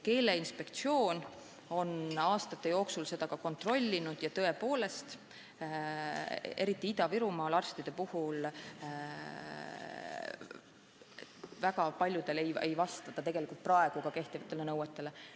Keeleinspektsioon on aastate jooksul seda kontrollinud ja tõepoolest, eriti Ida-Virumaal arstide puhul see väga paljudel juhtudel ei vasta kehtivatele nõuetele.